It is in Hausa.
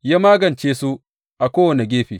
Ya magance su a kowane gefe.